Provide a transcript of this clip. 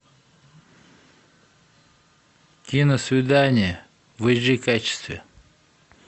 киносвидание в эйч ди качестве